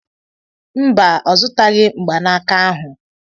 Mba, ọ zụtaghị mgbanaka ahụ.